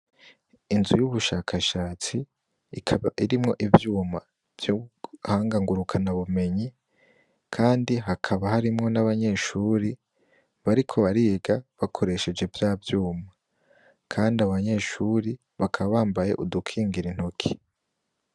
Inzu y' ubushakashatsi ikaba irimwo ivyuma vy' ubuhanga ngurukana bumenyi kandi hakaba harimwo n' abanyeshure bariko bariga bakoresheje vya vyuma kandi abo banyeshure bakaba bambaye udukingira intoki.